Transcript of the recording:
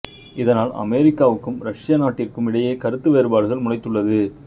இதனால் அமெரிக்காவுக்கும் ரஷ்யா நாட்டிற்கும் இடையே கருத்து வேறுபாடுகள் முளைத்துள்ளது